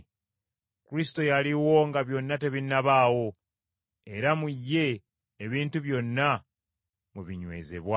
Kristo yaliwo nga byonna tebinnabaawo, era mu ye ebintu byonna mwe binywezebwa.